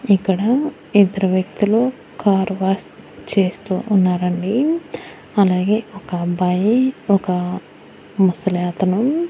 ఇక్కడ ఇద్దరు వ్యక్తులు కార్ వాష్ చేస్తూ ఉన్నారండి. అలాగే ఒక అబ్బాయి ఒక ముసలి అతను --